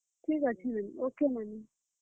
ଠିକ୍ ଅଛେ ନାନୀ। okay ନାନୀ।